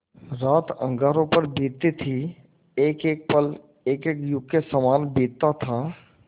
रात अंगारों पर बीतती थी एकएक पल एकएक युग के सामान बीतता था